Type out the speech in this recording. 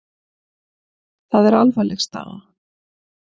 Það er alvarleg staða.